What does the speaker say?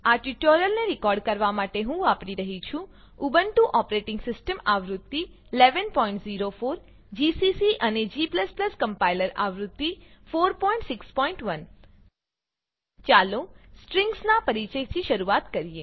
આ ટ્યુટોરીયલને રેકોર્ડ કરવા માટે હું વાપરી રહ્યી છું ઉબુન્ટુ ઓપરેટીંગ સીસ્ટમ આવૃત્તિ 1104 જીસીસી અને g કમ્પાઈલર આવૃત્તિ 461 ચાલો સ્ટ્રિંગસ નાં પરીચયથી શરૂઆત કરીએ